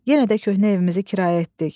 Yenə də köhnə evimizi kirayə etdik.